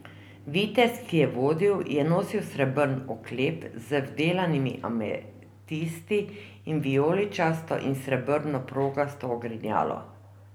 Vitez, ki jih je vodil, je nosil srebrn oklep z vdelanimi ametisti in vijoličasto in srebrno progasto ogrinjalo.